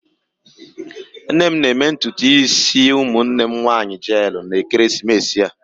Nne m ga-eme ntutu isi ụmụnne m nwanyị jeelụ n'ekeresimesi a.